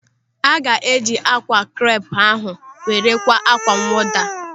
Aga eji ákwà krep ahụ were kwaa ákwá mwụda.